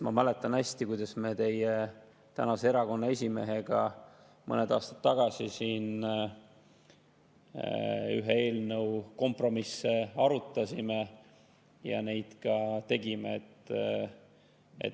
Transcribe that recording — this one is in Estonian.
Ma mäletan hästi, kuidas me mõned aastad tagasi teie erakonna praeguse esimehega siin ühe eelnõu kompromisse arutasime ja neid ka tegime.